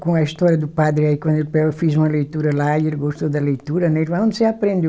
Com a história do padre aí quando eu fiz uma leitura lá e ele gostou da leitura, né, ele aonde você aprendeu?